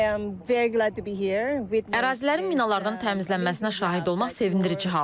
I am very glad to be here with Ərazilərin minalardan təmizlənməsinə şahid olmaq sevindirici haldır.